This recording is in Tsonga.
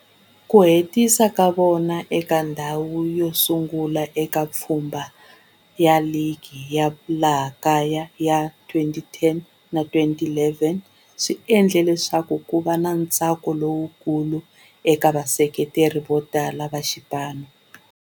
Ku hetisa ka vona eka ndhawu yo sungula eka pfhumba ra ligi ya laha kaya ya 2010 na 2011 swi endle leswaku kuva na ntsako lowukulu eka vaseketeri votala va xipano.